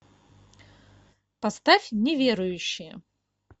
поставь неверующие